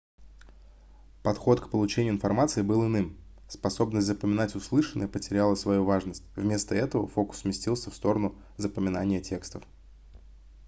подход к получению информации был иным способность запоминать услышанное потеряла свою важность вместо этого фокус сместился в сторону запоминания текстов